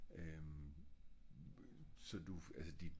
øhm så du altså dit